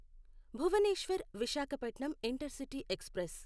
Bhubaneswar Visakhapatnam intercity express